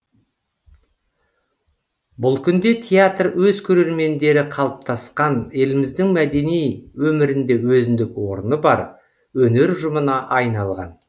бұл күнде театр өз көрермендері қалыптасқан еліміздің мәдени өмірінде өзіндік орны бар өнер ұжымына айналған